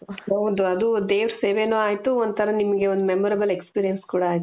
ಹೌದು ಅದು ದೇವರ ಸೇವೇನು ಆಯ್ತು ಒಂಥರಾ ನಿಮಗೆ ಒಂದು memorable experience ಕೂಡಾ ಆಯ್ತು .